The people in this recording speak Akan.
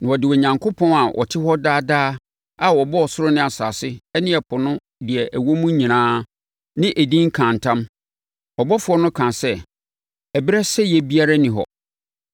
na ɔde Onyankopɔn a ɔte hɔ daa daa a ɔbɔɔ ɔsoro ne asase ne ɛpo ne deɛ ɛwɔ mu nyinaa no edin kaa ntam. Ɔbɔfoɔ no kaa sɛ, “Ɛberɛ sɛeɛ biara nni hɔ.